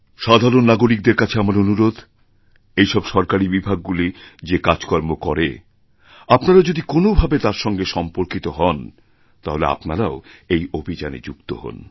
সাধারণ নাগরিকদের কাছে আমার অনুরোধ এইসব সরকারী বিভাগগুলি যে কাজকর্ম করে আপনারা যদি কোনও ভাবে তার সঙ্গে সম্পর্কিতহন তাহলে আপনারাও এই অভিযানে যুক্ত হন